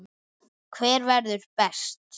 Hver verður best?